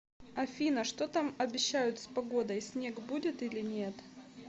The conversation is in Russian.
афина что там обещают с погодой снег будет или нет